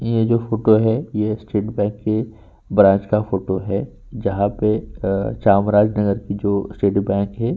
ये जो फोटो हैं ये स्टेट बैंक के ब्रांच का फोटो है जहाँ पे चामराज नगर की जो स्टेट बैंक है।